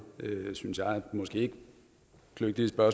ikke